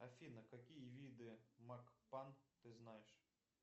афина какие виды макпан ты знаешь